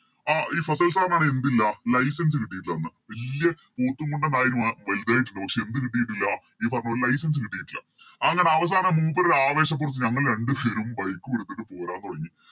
ആഹ് ഈ ഫസിൽ Sir ന് ആണെ എന്തില്ല License കിട്ടീട്ടില്ല അന്ന് വല്യ മൂക്കും മുണ്ടൻ ആയിറ്റ് വലുതായിറ്റ് പക്ഷെ എന്ത് കിട്ടീട്ടില്ല ഈ പറഞ്ഞ പോലെ License കിട്ടീട്ടില്ല അങ്ങനെ അവസാനം മൂപ്പര് ആവേശപ്പൊറത്ത് ഞങ്ങള് രണ്ട് പേരും Bike ഉം എടുത്തിട്ട് പോരാൻ തൊടങ്ങി